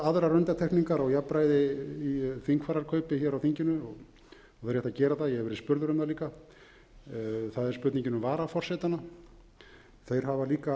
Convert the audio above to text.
aðrar undantekningar á jafnræði í þingfararkaup hér á þinginu og er rétt að gera það ég hef verið spurður um það líka það er spurningin um varaforsetana þeir hafa líka